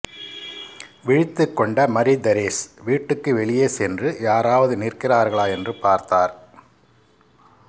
விழித்துக் கொண்ட மரிதெரேஸ் வீட்டுக்கு வெளியே சென்று யாராவது நிற்கிறார்களா என்று பார்த்தார்